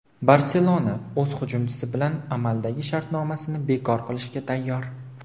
"Barselona" o‘z hujumchisi bilan amaldagi shartnomasini bekor qilishga tayyor;.